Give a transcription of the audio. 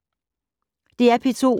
DR P2